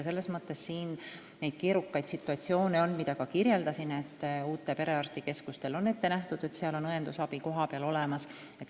Selles mõttes on siin keerukaid situatsioone, mida ma ka kirjeldasin, kuivõrd uutele perearstikeskustele on ette nähtud, et seal on õendusabi kohapeal olemas.